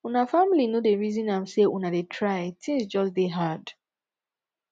una family no dey resin am sey una dey try tins just dey hard